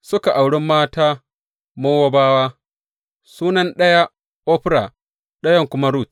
Suka auri mata Mowabawa, sunan ɗaya Orfa ɗayan kuma Rut.